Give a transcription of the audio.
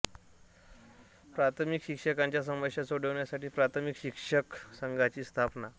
प्राथमिक शिक्षकांच्या समस्या सोडवण्यासाठी प्राथमिक शिक्षक संघाची स्थापना